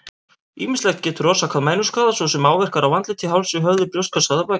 Ýmislegt getur orsakað mænuskaða, svo sem áverkar á andliti, hálsi, höfði, brjóstkassa eða baki.